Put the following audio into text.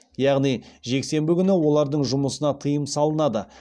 яғни жексенбі күні олардың жұмысына тыйым салынады